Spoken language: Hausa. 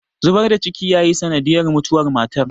zubar da ciki yayi sanadiyar mutuwar matar